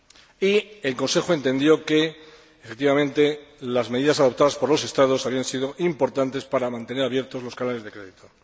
Y el Consejo entendió que, efectivamente, las medidas adoptadas por los Estados habían sido importantes para mantener abiertos los canales de crédito.